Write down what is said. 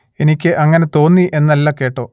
എനിക്ക് അങ്ങനെ തോന്നി എന്നല്ല കേട്ടോ